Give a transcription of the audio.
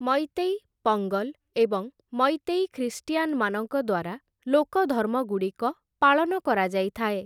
ମୈତୈ, ପଙ୍ଗଲ୍‌ ଏବଂ ମୈତୈ ଖ୍ରୀଷ୍ଟିୟାନ୍‌ମାନଙ୍କ ଦ୍ୱାରା ଲୋକଧର୍ମଗୁଡ଼ିକ ପାଳନ କରାଯାଇଥାଏ ।